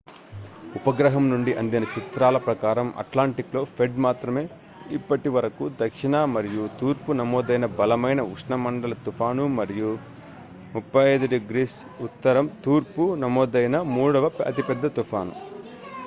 ఉపగ్రహం నుండి అందిన చిత్రాల ప్రకారం అట్లాంటిక్‌లో ఫ్రెడ్ మాత్రమే ఇప్పటివరకు దక్షిణ మరియు తూర్పున నమోదైన బలమైన ఉష్ణమండల తుఫాను మరియు 35°w తూర్పున నమోదైన మూడవ అతి పెద్ద తుఫాను